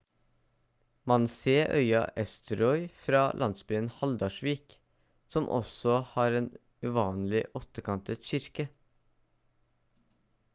man se øya eysturoy fra landsbyen haldarsvík som også har en uvanlig åttekantet kirke